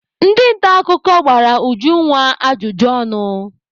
Ndị nta akụkọ gbara Ujunwa ajụjụ ọnụ.